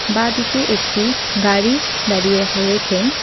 বাঁদিকে একটি গাড়ি দাঁড়িয়ে রাখা রয়েছেম।